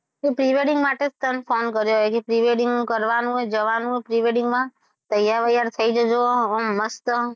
pre-wedding માટે જ તને phone કર્યો છે હજી pre-wedding કરવાનું છે જવાનું છે pre-wedding માં તૈયાર બૈયાર થયી જજો ઓમ મસ્ત,